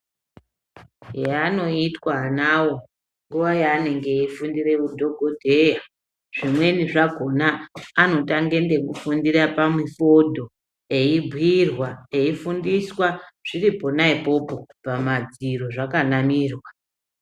Yaanoitwa anawo nguwa yaanende eifundire udhogodheya zvimweni zvakhona anotange ngekufundire pamifodho eibhiirwa, eifundiswa zviri pona ipopo pamadziro zvakanamirwa.